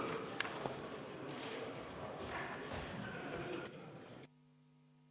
Head ametikaaslased!